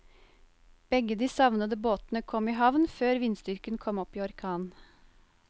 Begge de savnede båtene kom i havn før vindstyrken kom opp i orkan.